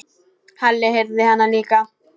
Halli heyrði hana líka.